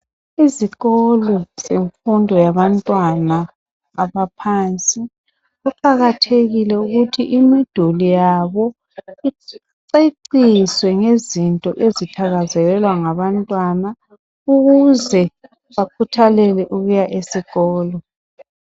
lzikolo zemfundo yabaphansi kuqakathekile ukuthi imiduli yabo iceciswe ngezinto ezithakazelelwa ngabantwana ukuze bakhuthalele ukuya esikolo.